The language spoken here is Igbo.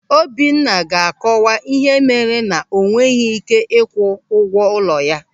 Obinna ga-akọwa ihe mere na o nweghị ị́ké ịkwụ ụgwọ ụlọ ya.